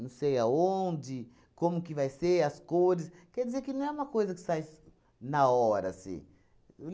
Não sei aonde, como que vai ser, as cores... Quer dizer que não é uma coisa que sais na hora, assim,